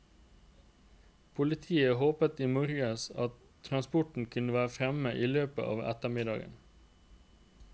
Politiet håpet i morges at transporten kunne være fremme i løpet av ettermiddagen.